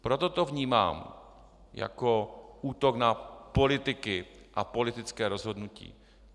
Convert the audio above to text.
Proto to vnímám jako útok na politiky a politické rozhodnutí.